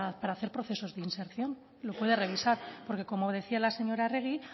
para hacer procesos de inserción lo puede revisar porque como decía la señora arregi